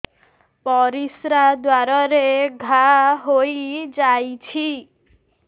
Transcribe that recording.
ପରିଶ୍ରା ଦ୍ୱାର ରେ ଘା ହେଇଯାଇଛି